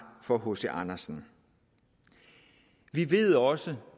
for hc andersen vi ved også